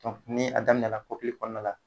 ni a daminɛla kɔkili kɔɔna la